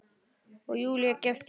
Og Júlía gefst upp.